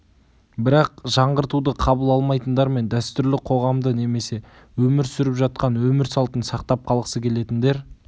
бірақ жаңғыртуды қабыл алмайтындар мен дәстүрлі қоғамды немесе өмір сүріп жатқан өмір салтын сақтап қалғысы келетіндер